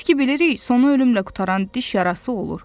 Biz ki bilirik, sonu ölümlə qurtaran diş yarası olur.